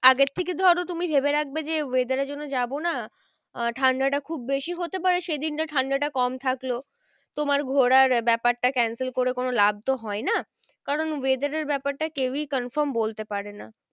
আগের থেকে ধরো তুমি ভেবে রাখবে যে weather এর জন্য যাবো না আহ ঠান্ডাটা খুব বেশি হতে পারে সে দিনটা ঠান্ডাটা কম থাকলো। তোমার ঘোরার ব্যাপারটা cancel করে কোনো লাভ তো হয় না। কারণ weather এর ব্যাপারটা কেউই confirm বলতে পারে না।